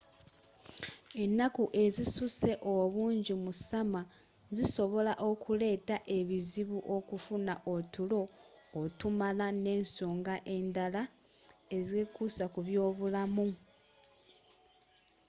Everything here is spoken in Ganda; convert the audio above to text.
ennaku ezisuse obungi mu summer zisobola okuleta ebizibu okufuna otulo otumala nensonga endaala ezekuusa kubyobulamu